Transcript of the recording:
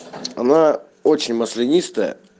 она очень маслянистая